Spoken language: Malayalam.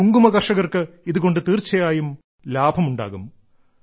കുങ്കുമ കർഷകർക്ക് ഇതുകൊണ്ട് തീർച്ചയായും ലഭമുണ്ടാകും